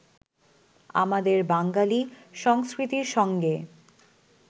আমাদের বাঙালী সংস্কৃতির সঙ্গে